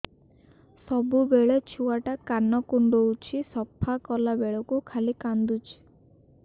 ସବୁବେଳେ ଛୁଆ ଟା କାନ କୁଣ୍ଡଉଚି ସଫା କଲା ବେଳକୁ ଖାଲି କାନ୍ଦୁଚି